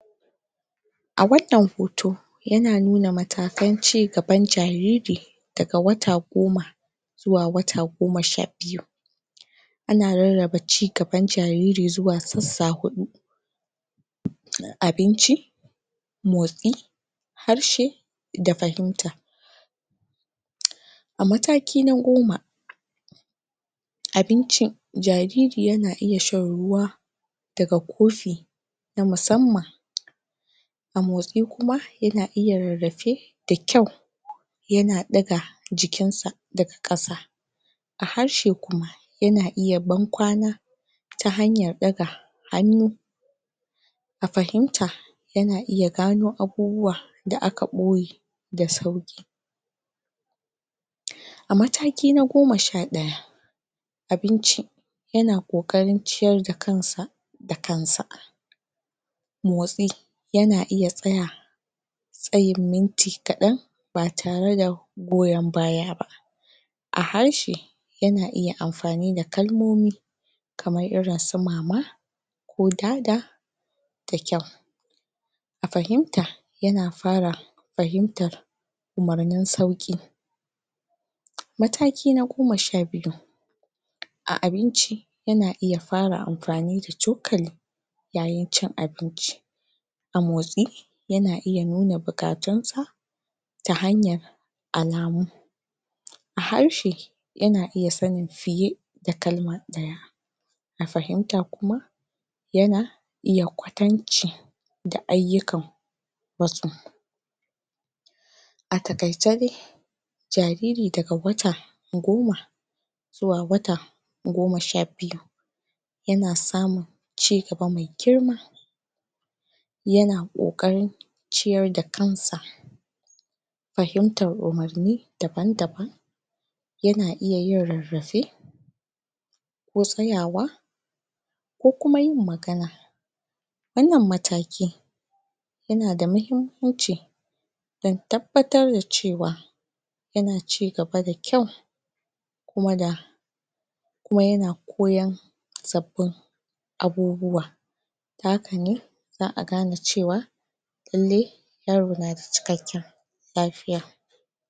A wannan hoto, yana nuna matakan cigaban jariri daga wata goma, zuwa wata goma sha biyu. Ana rarraba cigaban jariri zuwa sassa huɗu: abinci, motsi, harshe, da fahimta. A mataki na goma: abinci, jariri yana iya shan ruwa daga kofi na musamman. A motsi kuma, yana iya rarrafe da kyau, yana ɗaga jikin sa daga ƙasa. A harshe kuma, yana iya ban kwana ta hanyar ɗaga hannu. A fahimta, yana iya gano abubuwa da aka ɓoye da sauƙi. A mataki na goma sha ɗaya: abinci, yana ƙoƙarin ciyar da kan s da kan sa. Motsi, yana iya tsaya tsayin minti kaɗan, ba tare da goyan baya ba. A harshe, yana iya amfani da kalmomi kamar irin su mama, ko dada da kyau. A fahimta, yana fara fahimtan umarnin sauƙi. Mataki na goma sha biyu: a abinci yana iya fara amfani da cokali, a yayin cin abinci. A motsi, yana iya nuna buƙatun sa ta hanyar alamu. A harshe, yana iya sani fiye da kalma ɗaya. A fahimta kuma, yana iya kwatanci da ayyukan matso. A taƙaice dai, jariri daga wata goma zuwa wata goma sha biyu, yana samun cigaba mai girma, yana ƙoƙarin ciyar da kan sa, fahimtan umarni daban-daban, yana iya yin rarrafe, ko tsayawa, ko kuma yin rarrafe. Wannan mataki, yana da muhimmmanci dan tabbatar da cewa yana cigaba da kyau, kuma da kuma yana koyan sabbin abubuwa. Ta haka ne za a gane cewa lallai yaro na da cikakken lafiya.